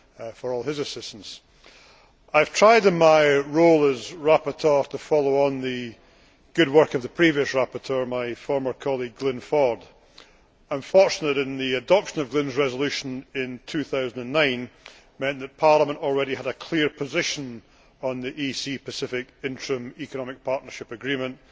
for all his assistance. I have tried, in my role as rapporteur, to follow on from the good work of the previous rapporteur, my former colleague Glyn Ford. I am fortunate that the adoption of Glyn's resolution in 2009 meant that Parliament already had a clear position on the EC Pacific Interim Economic Partnership Agreement.